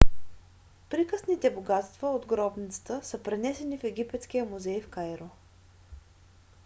приказните богатства от гробницата са пренесени в египетския музей в кайро